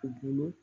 U bolo